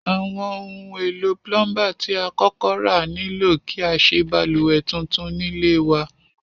Àwon oun èlò plumber ti a kókó ra nílò kí a sé balùwè tuntun nílé wa